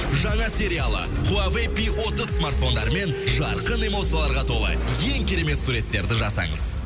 жаңа сериалы хуавей пи отыз смартфондарымен жарқын эмоцияларға толы ең керемет суреттерді жасаңыз